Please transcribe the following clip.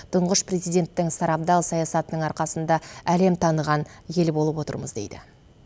тұңғыш президенттің сарабдал саясатының арқасында әлем таныған ел болып отырмыз дейді